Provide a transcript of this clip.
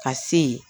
Ka se yen